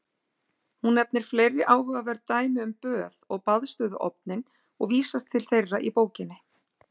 Hún nefnir fleiri áhugaverð dæmi um böð og baðstofuofninn og vísast til þeirra í bókinni.